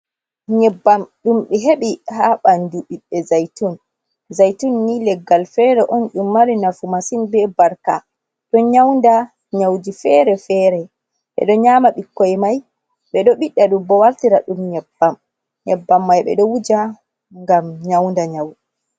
Nyebbam ɗum be heɓi ha ɓandu ɓiɓbe zaitun. Zaitun ni leggal fere on ɗum mari nafu masin be barka. Ɗo nyaunda nyauji fere-fere. Ɓedo nyama ɓikkoi mai, ɓedo ɓiɗɗa ɗum bo wartira ɗum nyebbam. Nyebbam mai ɓeɗo wuja ngam nyaunda nyawu.